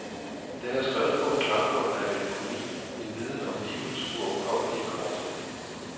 Den er skrevet på en klangbund af melankoli, en viden om livets uoverkommelige korthed.